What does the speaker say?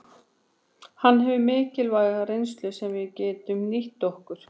Hann hefur mikilvæga reynslu sem við getum nýtt okkur.